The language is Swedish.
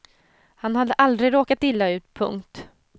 Han hade aldrig råkat illa ut. punkt